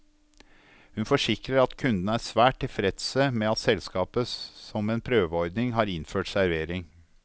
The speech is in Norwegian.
Hun forsikrer at kundene er svært tilfredse med at selskapet som en prøveordning har innført servering.